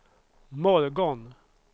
morgon